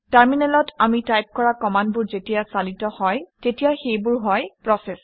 টাৰমিনেলত আমি টাইপ কৰা কমাণ্ডবোৰ যেতিয়া চালিত হয় তেতিয়া সেইবোৰ হয় প্ৰচেচ